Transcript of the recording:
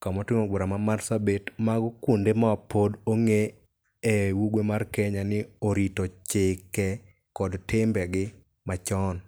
kamoting'o boma ma Marsabit mago kuonde ma pod ong'e e ugwe mar Kenya ni orito chike kod timbegi machon.